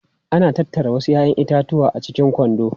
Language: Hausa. Ana tattara wasu 'ya'yan itatuwa a cikin kwando.